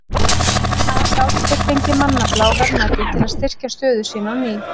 Þar gátu þeir fengið mannafla og verðmæti til að styrkja stöðu sína á ný.